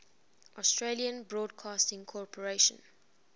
australian broadcasting corporation